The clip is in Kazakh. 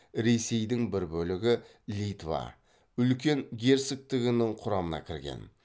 ресейдің бір бөлігі литва үлкен герцогтігінің құрамына кірген